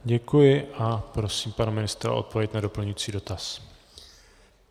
Děkuji a prosím pana ministra o odpověď na doplňující dotaz.